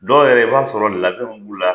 Dɔw yɛrɛ i bɛ t'a sɔrɔ labɛn b' u la.